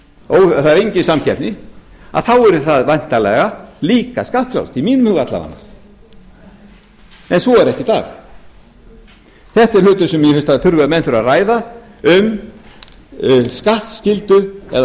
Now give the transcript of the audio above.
óþekkt það er engin samkeppni yrði það væntanlega líka skattfrjálst að minnsta kosti í mínum huga en svo er ekki í dag þetta er hlutur sem ég held að menn þurfi að ræða um skattskyldu eða